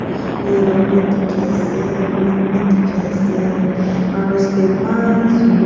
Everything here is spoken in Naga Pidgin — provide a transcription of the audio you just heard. yellow bi dikhi asey green bi dikhi asey aro step emaaan sundor--